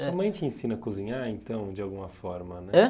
Sua mãe te ensina a cozinhar, então, de alguma forma, né? Hã?